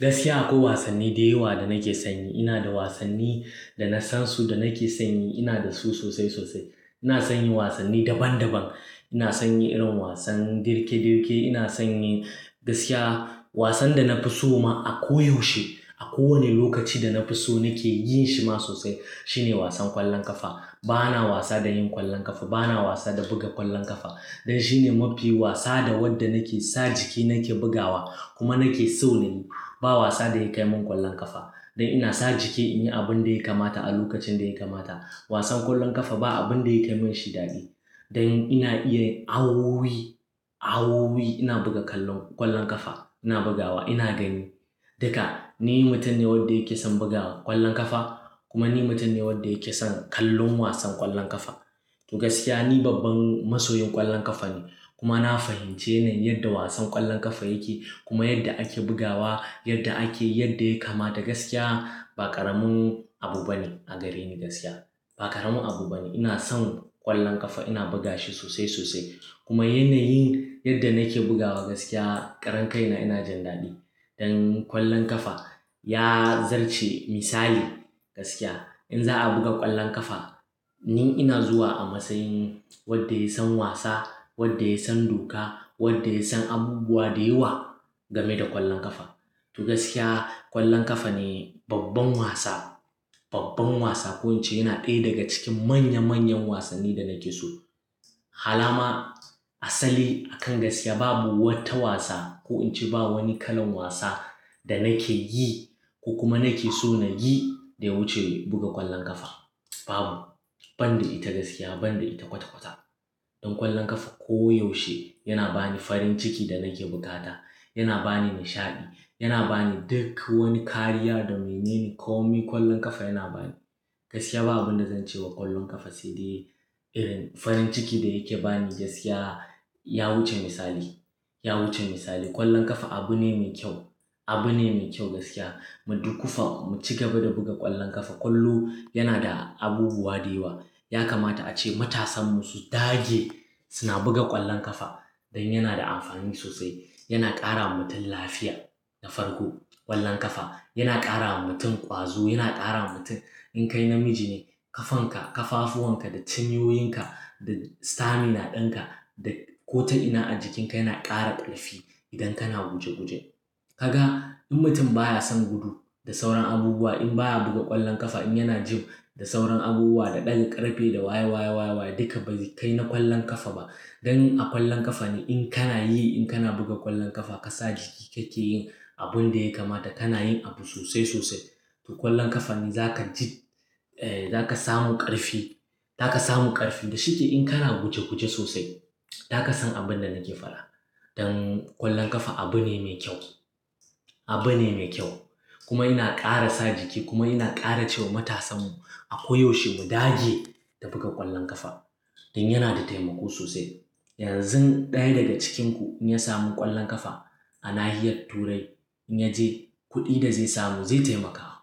Gaskiya akwai wasanni da yawa da nake sanyi. Ina da wasanni da na san su da nake sanyi. Ina da su sosai sosai. Ina son yin wasanni daban daban. Ina son yin irin wasan dirke dirke. Ina son yi, gaskiya wasan da na fi so ma a koyaushe a kowane lokaci da na fi so nake yin shi ma sosai shine wasan ƙwallon ƙafa. Bana wasa da yin ƙwallon ƙafa. Bana wasa da buga ƙwallon ƙafa. Dan shine mafi wasa da wadda nake sa jiki nake bugawa kuma nake so na yi. Ba wasa da ya kai min ƙwallon ƙafa. Don ina sa jiki in yi abin da ya kamata a lokacin da ya kamata. Wasan ƙwallon ƙafa ba abin da ya kai min shi daɗi. Dan ina iya awooyi, awooyi ina buga ƙwallon, ƙwallon ƙafa. Ina bugawa ina gani. Duka ni mutum ne wadda yake son buga ƙwallon ƙafa kuma ni mutum ne wanda yake son kallon wasan ƙwallon ƙafa. To gaskiya ni babban masoyin ƙwallon ƙafa ne kuma na fahimce yanayin yadda wasan ƙwallon ƙafa yake kuma yadda ake bugawa, yadda ake yi, yadda ya kamata. Gaskiya ba ƙaramin abu bane a gare ni gaskiya. Ba ƙaramin abu bane. Ina son ƙwallon ƙafa. Ina buga shi sosai sosai kuma yanayin yadda nake bugawa gaskiya karan kaina ina jin daɗi. Don ƙwallon ƙafa ya zarce misali. Gaskiya in za a buga ƙwallon ƙafa ni ina zuwa a matsayin wanda ya san wasa, wanda ya san doka, wanda ya san abubuwa da yawa game da ƙwallon ƙafa. To gaskiya ƙwallon ƙafa ne babban wasa, babban wasa. Ko in ce yana ɗaya daga cikin manya manyan wasannin da nake so. Hala ma asali akan gaskiya babu wata wasa ko in ce ba wani kalan wasa da nake yi ko kuma nake so na yi da ya wuce buga ƙwallon ƙafa. Babu. Ban da ita gaskiya ban da ita kwata kwata. Dan ƙwallon ƙafa koyaushe yana bani farin ciki da nake bukata. Yana bani nishaɗi. Yana bani duk wani kariya da mai nene komi ƙwallon ƙafa yana bani. Gaskiya ba abin da zan ce wa ƙwallon ƙafa sai dai irin farin ciki da yake ba ni gaskiya ya wuce misali, ya wuce misali. Ƙwallon ƙafa abu ne mai kyau. Abu ne mai kyau gaskiya. Mu dukufa mu ci gaba da buga ƙwallon ƙafa. Ƙwallo yana da abubuwa da yawa. Ya kamata ace matasanmu su dage suna buga ƙwallon ƙafa dan yana da amfani sosai. Yana ƙara wa mutum lafiya da farko. Ƙwallon ƙafa yana ƙara wa mutum ƙwazo, yana ƙara wa mutum in kai namiji ne kafanka, kafafuwan ka da cinyoyinka da stamina ɗinka da ko ta'ina a jikinka yana ƙara ƙarfi idan kana guje guje. Kaga in mutum baya son gudu da sauran abubuwa in baya buga ƙwallon ƙafa in yana gym da sauran abubuwa da ɗaga ƙarfe da waye waye waye waye duka ba zai kai na ƙwallon ƙafa ba. Dan a ƙwallon ƙafa ne in kana yi in kana buga ƙwallon ƙafa kasa jiki kake yin abun da ya kamata. Kana yin abu sosai sosai. To ƙwallon ƙafa ne zaka ji, eh zaka samu ƙarfi, zaka samu ƙarfi. Da shike in kana guje guje sosai zaka san abin da nake faɗa. Dan ƙwallon ƙafa abu ne mai kyau, abu ne mai kyau kuma yana ƙara sa jiki kuma yana ƙara ce wa matasanmu a koyaushe mu dage ta buga ƙwallon ƙafa. Dan yana da taimako sosai. Yanzun ɗaya daga cikinku in ya samu ƙwallon ƙafa a nahiyar turai in ya je kuɗi da zai samu zai taimaka wa,